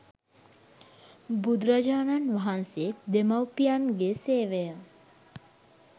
බුදුරජාණන් වහන්සේ දෙමාපියන්ගේසේවය